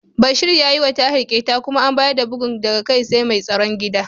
Bashir ya yiwa Tahir ƙyeta kuma an bayar da bugun daga kai sai mai tsaron gida.